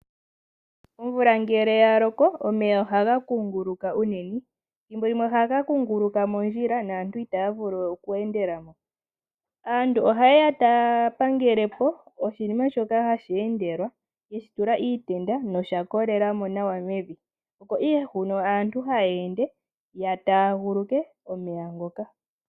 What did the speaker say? Omvula ngele yalokoomeya ohaga kunguluka unene ethimbolimwe ohaga kunguluka mondjila naantu itaya vulu we oku endelamo .Aantu ohayeya taya pangelepo oshinima shoka hashi endelwa yeshi tula iitenda nosha kolelamo nawa mevi opo ihe hono aantu haya ende ya taaguluke omeya ngoka.